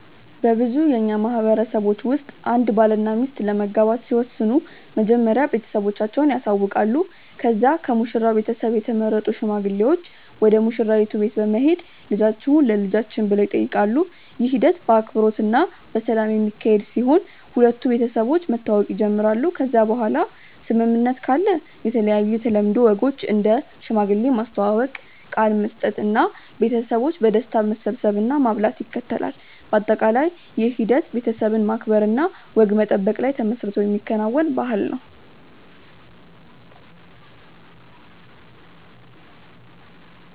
በብዙ የእኛ ማህበረሰቦች ውስጥ አንድ ባልና ሚስት ለመጋባት ሲወስኑ መጀመሪያ ቤተሰቦቻቸውን ያሳውቃሉ ከዚያ ከሙሽራው ቤተሰብ የተመረጡ ሽማግሌዎች ወደ ሙሽራይቱ ቤት በመሄድ ልጆቹን ለልጆችን ብሎ ይጠይቃሉ። ይህ ሂደት በአክብሮት እና በሰላም የሚካሄድ ሲሆን ሁለቱ ቤተሰቦች መተዋወቅ ይጀምራሉ ከዚያ በኋላ ስምምነት ካለ የተለያዩ የተለምዶ ወጎች እንደ ሽማግሌ ማስተዋወቅ፣ ቃል መስጠት እና ቤተሰቦች በደስታ መሰብሰብ እና ማብላት ይከተላል። በአጠቃላይ ይህ ሂደት ቤተሰብን ማክበር እና ወግ መጠበቅ ላይ ተመስርቶ የሚከናወን ባህልን ነው።